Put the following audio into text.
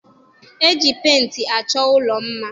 E ji penti achọ ụlọ mma